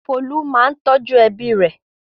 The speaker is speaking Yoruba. Folú máa ń tọ́jú ẹbí rẹ̀.